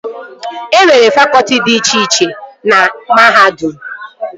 E nwere fakọtị dị iche iche na mahadum